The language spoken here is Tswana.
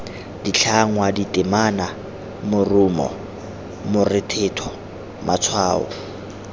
ditlhangwa ditemana morumo morethetho matshwao